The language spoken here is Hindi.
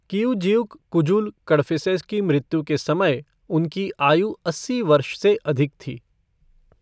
किऊजिउक कुजुल कड़फिसेस की मृत्यु के समय उनकी आयु अस्सी वर्ष से अधिक थी।